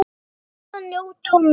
Kunni að njóta og meta.